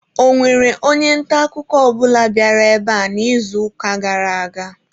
Ọ nwere onye nta akụkọ ọ bụla bịara ebe a n'izuụka gara aga?